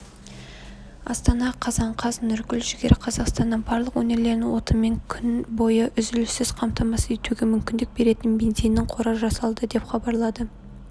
астана қазан қаз нұргүл жігер қазақстанның барлық өңірлерін отынмен күн бойы үзіліссіз қамтамасыз етуге мүмкіндік беретін бензинінің қоры жасалды деп хабарлады